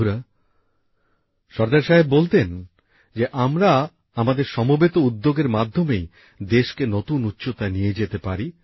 বন্ধুরা সর্দার সাহেব বলতেন যে আমরা আমাদের সমবেত উদ্যোগের মাধ্যমেই দেশকে নতুন উচ্চতায় নিয়ে যেতে পারি